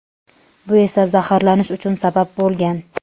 Bu esa zaharlanish uchun sabab bo‘lgan.